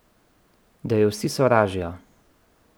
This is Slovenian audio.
Da jo vsi sovražijo.